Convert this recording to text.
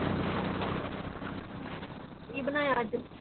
ਕੀ ਬਣਾਇਆ ਅੱਜ?